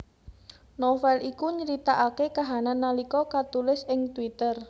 Novel iku nyritakaké kahanan nalika katulis ing twitter